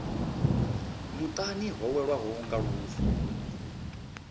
muṱani ho welwaho nga lufu